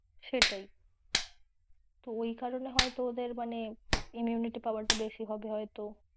সেটাই তো ওই কারনে ওদের হয়তো মানে, immunity power টা বেশি হবে হয়তো।